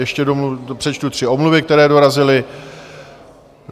Ještě přečtu tři omluvy, které dorazily.